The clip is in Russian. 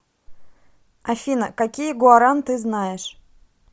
афина какие гуаран ты знаешь